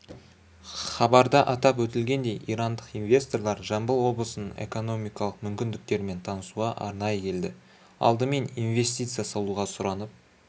хабарда атап өтілгендей ирандық инвесторлар жамбыл облысының экономикалық мүмкіндіктерімен танысуға арнайы келді алдымен инвестиция салуға сұранып